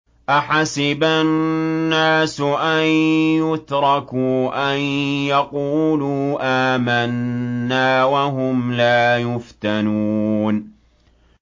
أَحَسِبَ النَّاسُ أَن يُتْرَكُوا أَن يَقُولُوا آمَنَّا وَهُمْ لَا يُفْتَنُونَ